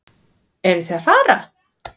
Eruð þið að fara?